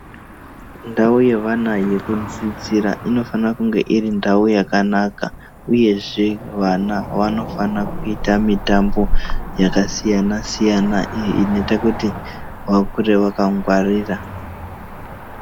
Ndau yeana yekudzidzira inofane kunge iri ndau yakanaka, uyezve vana vanofana kuita mitambo yakasiyana-siyana inoita kuti vakure vakangwarira.